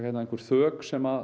einhver þök sem